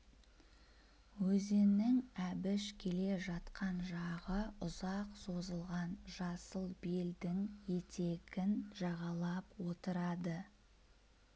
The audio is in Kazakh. өзеннің әбіш келе жатқан жағы ұзақ созылған жасыл белдің етегін жағалап отырады